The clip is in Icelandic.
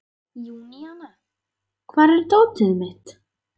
Júníana, hvar er dótið mitt?